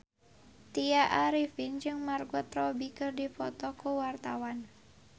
Tya Arifin jeung Margot Robbie keur dipoto ku wartawan